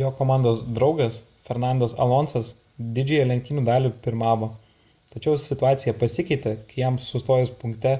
jo komandos draugas fernandas alonsas didžiąją lenktynių dalį pirmavo tačiau situacija pasikeitė kai jam sustojus punkte